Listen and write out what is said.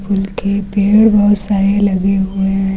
उनके पेड़ बहुत सारे लगे हुए हैं।